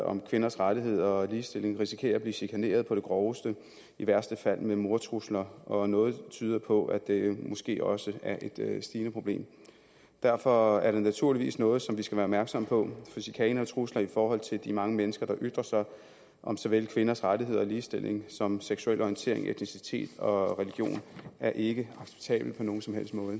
om kvinders rettigheder og ligestilling risikerer at blive chikaneret på det groveste i værste fald med mordtrusler og noget tyder på at det måske også er et stigende problem derfor er det naturligvis noget som vi skal være opmærksomme på for chikane og trusler i forhold til de mange mennesker der ytrer sig om såvel kvinders rettigheder og ligestilling som seksuel orientering etnicitet og religion er ikke acceptabelt på nogen som helst måde